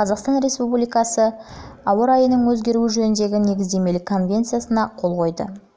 қазақстан республикасы жылы ауа райының өзгеруі жөніндегі негіздемелік конвенциясына қол қойды